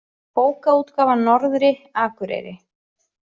Bókaútgáfan Norðri, Akureyri.